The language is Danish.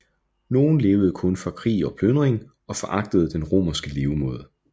Nogen levede kun for krig og plyndring og foragtede den romerske levemåde